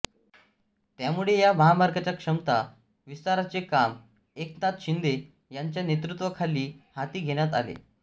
त्यामुळे या महामार्गाच्या क्षमता विस्ताराचे काम एकनाथ शिंदे यांच्या नेतृत्वाखाली हाती घेण्यात आले